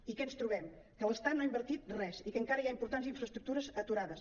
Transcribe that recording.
i què ens trobem que l’estat no ha invertit res i que encara hi ha importants infraestructures aturades